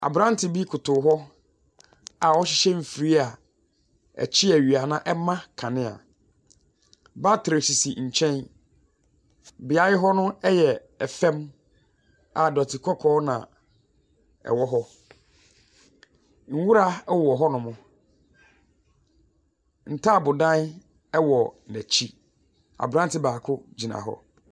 Aberante bi koto hɔ a ɔrehyehyɛ mfiria a ɔkye awia na ɛma nkanea, batere sisi nkyɛn, beaeɛ hɔ no ɛyɛ fam a dɔte kɔkɔɔ na ɛwɔ hɔ. Nwura ɛwɔ hɔnom. Ntaabodan ɛwɔ n’akyi. Aberante baako gyina hɔ.